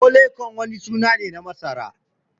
"Pole corn" wani suna ne na masara.